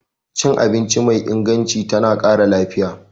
Cin abinci mai inganci tana ƙara lafiya.